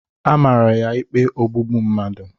A maara ya ikpe maka ogbugbu mmadụ.